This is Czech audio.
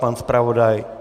Pan zpravodaj?